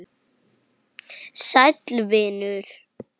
Sæll, vinur.